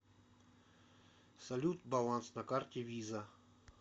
салют баланс на карте виза